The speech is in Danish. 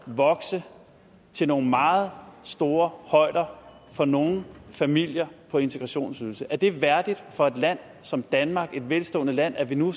vokse til nogle meget store højder for nogle familier på integrationsydelse er det værdigt for et land som danmark et velstående land at vi nu